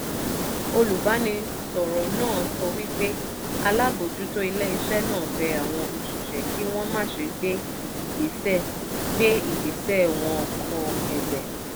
olùbánisọ̀rọ̀ náà sọ wípé alábòjútó ilé iṣẹ́ náà bẹ àwọn òṣìṣẹ́ kí wọ́n máṣe gbé ìgbésẹ́ gbé ìgbésẹ́ wọ́n kọ ẹ̀bẹ̀.